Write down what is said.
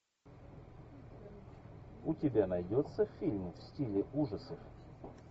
у тебя найдется фильм в стиле ужасов